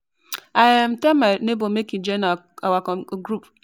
I um tell my nebor make he join our group